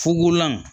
Fugulan